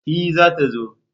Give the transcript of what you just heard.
E! za ta zo.